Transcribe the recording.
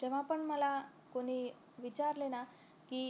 जेव्हा पण मला कोणी विचारले ना की